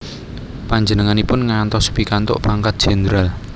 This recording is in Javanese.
Panjenenganipun ngantos pikantuk pangkat jendral